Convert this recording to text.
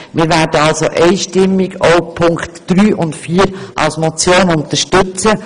Wir werden grossmehrheitlich auch die Punkte 3 und 4 als Motion unterstützen.